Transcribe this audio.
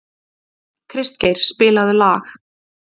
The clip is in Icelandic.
Kristgeir, spilaðu lag.